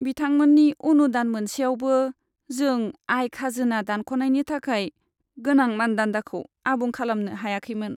बिथांमोननि अनुदान मोनसेयावबो, जों आय खाजोना दानख'नायनि थाखाय गोनां मानदान्दाखौ आबुं खालामनो हायाखैमोन।